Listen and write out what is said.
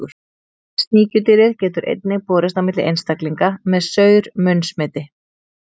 Sníkjudýrið getur einnig borist á milli einstaklinga með saur-munn smiti.